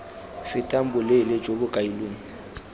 fetang boleele jo bo kailweng